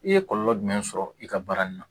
I ye kɔlɔlɔ jumɛn sɔrɔ i ka baara nin na